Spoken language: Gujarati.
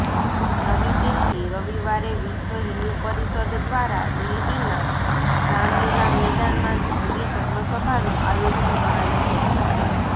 નવી દિલ્હીઃ રવિવારે વિશ્વ હિંદુ પરિષદ દ્વારા દિલ્હીનાં રામલીલા મેદાનમાં જંગી ધર્મસભાનું આયોજન કરાયું હતું